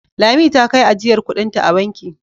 Lami ta kai ajiyar kuɗinta a banki.